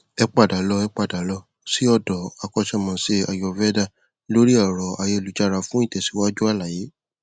ẹ padà lọ ẹ padà lọ sí ọdọ akọṣémọṣé ayurveda lórí ẹrọ ayélujára fún ìtẹsíwájú àlàyé